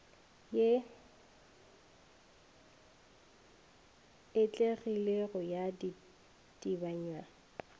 ye e atlegilego ya ditebanywa